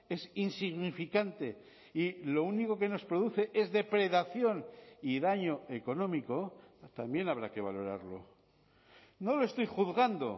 es insignificante y lo único que nos produce es depredación y daño económico también habrá que valorarlo no lo estoy juzgando